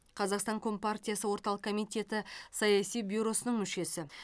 қазақстан компартиясы орталық комитеті саяси бюросының мүшесі